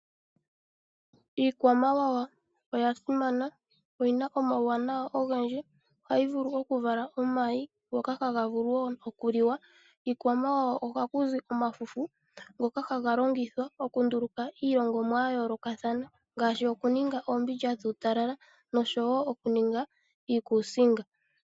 Iikwamawawa oya simana oyina omawuwanawa ogendji. Ohayi vulu okuvala omayi ngoka haga vulu wo okuliwa. Kiikwamawawa ohaku zi omafufu ngoka haga longithwa okunduuluka iilongomwa yayoolokathana, ngaashi okuninga oombindja dhuutalala nosho wo okuninga iikusinga.